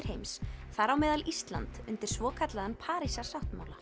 heims þar á meðal Ísland undir svokallaðan